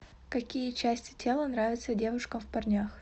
какие части тела нравятся девушкам в парнях